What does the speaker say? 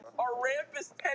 Ekki ég!